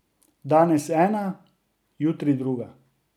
Danes ena, jutri druga.